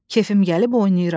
Kefim gəlib oynayıram.